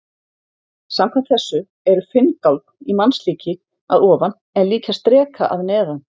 Samkvæmt þessu eru finngálkn í mannslíki að ofan en líkjast dreka að neðan.